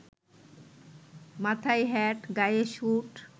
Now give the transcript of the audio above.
মাথায় হ্যাট, গায়ে স্যুট